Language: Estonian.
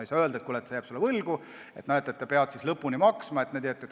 Ei saa öelda, et kui keegi jääb sulle võlgu, siis ta peab elu lõpuni maksma.